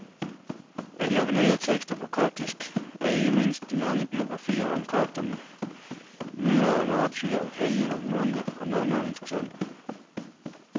Af de originale tekster på koptisk er ikke mindst de mange biografier om kopternes mylder af martyrer, helgener, munke og nonner interessante.